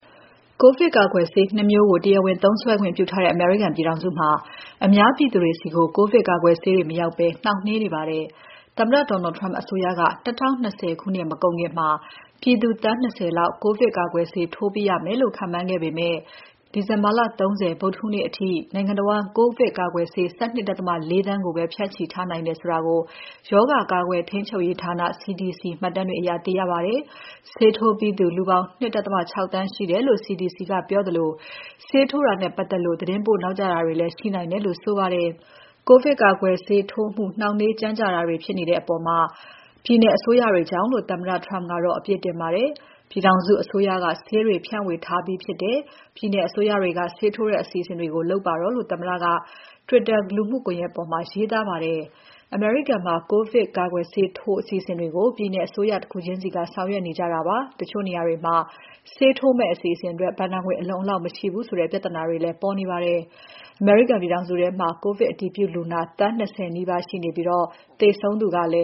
ကိုဗစ်ကာကွယ်ဆေး နှစ်မျိုးကို တရားဝင်သုံးစွဲခွင့်ပြုထားတဲ့ အမေရိကန်ပြည်ထောင်စုမှာ အများပြည်သူတွေဆီ ကိုဗစ်ကာကွယ်ဆေးတွေ မရောက်ဘဲ နှောင့်နှေးနေပါတယ်။ သမ္မတ Donald Trump အစိုးရက ၂၀၂၀ ခုနှစ်မကုန်ခင် ပြည်သူ သန်း ၂၀ လောက် ကိုဗစ် ကာကွယ်ဆေး ထိုးပြီးရမယ်လို့ ခန့်မှန်းခဲ့ပေမဲ့ ဒီဇင်ဘာ ၃၀ ဗုဒ္ဓဟူးနေ့အထိ နိုင်ငံတဝန်း ကိုဗစ် ကာကွယ်ဆေး ၁၂.၄ သန်းကိုပဲ ဖြန့်ချီထားနိုင်တာကို ရောဂါကာကွယ် ထိန်းချုပ်ရေးဌာန CDC မှတ်တမ်းတွေအရ သိရပါတယ်။ ဆေးထိုးပြီးသူ လူပေါင်း ၂.၆ သန်းရှိတယ်လို့ CDC ကပြောသလို ဆေးထိုးတာနဲ့ပတ်သက်လို့ သတင်းပို့နောက်ကျတာတွေလည်း ရှိနိုင်တယ်လို့ ဆိုပါတယ်။ ကိုဗစ် ကာကွယ်ဆေးထိုးတာနဲ့ပတ်သက်လို့ နှောင့်နှေးကြန့်ကြာမှုတွေ ဖြစ်နေတဲ့အပေါ် ပြည်နယ်အစိုးရတွေကြောင့်လို့ သမ္မတ Trump ကအပြစ်တင်ပါတယ်။ ပြည်ထောင်စုအစိုးရက ဆေးတွေဖြန့်ဝေထားပြီးဖြစ်တယ်၊ ပြည်နယ်အစိုးရတွေက ဆေးထိုးတဲ့အစီအစဉ်တွေ လုပ်ပါတော့လို့ သမ္မတက Trump လူမှုကွန်ယက်ပေါ်မှာ ရေးပါတယ်။ အမေရိကန်မှာ ကိုဗစ်ကာကွယ်ဆေးထိုး အစီအစဉ်တွေကို ပြည်နယ်အစိုးရ တခုချင်းစီက ဆောင်ရွက်နေကြတာဖြစ်ပါတယ်။ တချို့နေရာတွေမှာ ဆေးထိုးမယ့်အစီအစဉ်အတွက် ဘဏ္ဍာငွေအလုံအလောက် မရှိဘူးဆိုတဲ့ ပြဿနာတွေလည်း ပေါ်နေပါတယ်။ အမေရိကန်ပြည်ထောင်စုမှာ ကိုဗစ်အတည်ပြုလူနာ သန်း ၂၀ နီးပါးရှိနေပြီး သေဆုံးသူကလည်